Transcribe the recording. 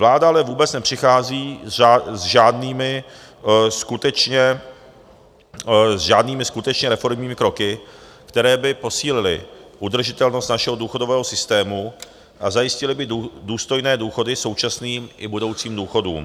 Vláda ale vůbec nepřichází s žádnými skutečně reformními kroky, které by posílily udržitelnost našeho důchodového systému a zajistily by důstojné důchody současným i budoucím důchodcům.